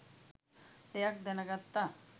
දෙයක් දැනගත්තා.